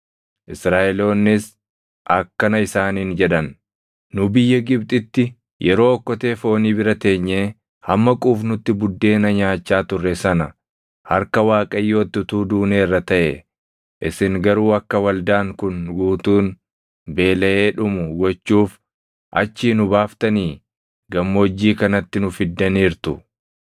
Israaʼeloonnis akkana isaaniin jedhan; “Nu biyya Gibxitti yeroo okkotee foonii bira teenyee hamma quufnutti buddeena nyaachaa turre sana harka Waaqayyootti utuu duuneerra taʼee! Isin garuu akka waldaan kun guutuun beelaʼee dhumu gochuuf achii nu baaftanii gammoojjii kanatti nu fiddaniirtu.”